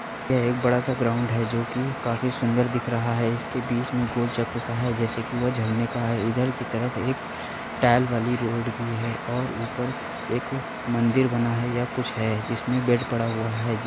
ये एक बड़ा सा ग्राउंड है जोकि काफी सुन्दर दिख रहा है। इसके बीच में गोल चक्कर सा है जैसे की वो झरने का है। इधर की तरफ एक टाईल वाली रोड भी है और ऊपर एक मंदिर बना है। यह कुछ है। इसमें बेड पड़ा हुआ है।